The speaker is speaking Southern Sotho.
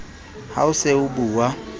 ha o se o bua